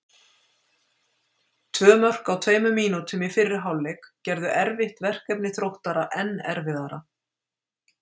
Tvö mörk á tveimur mínútum í fyrri hálfleik gerðu erfitt verkefni Þróttara enn erfiðara.